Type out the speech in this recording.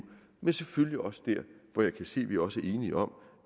men selvfølgelig også der hvor jeg kan se at vi også er enige om